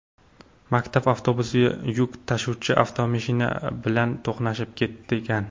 Maktab avtobusi yuk tashuvchi avtomashina bilan to‘qnashib ketgan.